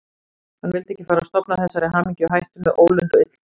Hann vildi ekki fara að stofna þessari hamingju í hættu með ólund og illdeilum.